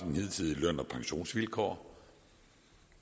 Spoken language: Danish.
hidtidige løn og pensionsvilkår